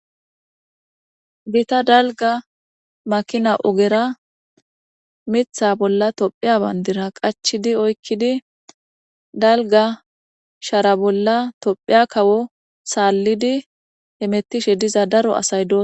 bita dalga makina ogera mitha bolla tophiya bandira qachidi oykkidi dalga shara bolla tophiya kawo saallidi hemettishe diza daro asay doso